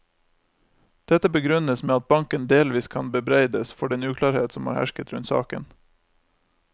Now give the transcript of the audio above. Dette begrunnes med at banken delvis kan bebreides for den uklarhet som har hersket rundt saken.